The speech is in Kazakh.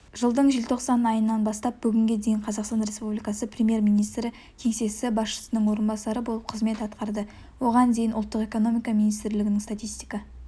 жылдың желтоқсан айынан бастап бүгінге дейін қазақстан республикасы премьер-министрі кеңсесі басшысының орынбасары болып қызмет атқарды оған дейін ұлттық экономика министрлігінің статистика